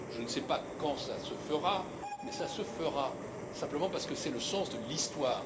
Je ne sais pas quand cela se fera, mais cela se fera, simplement parce que c'est le sens de l'histoire.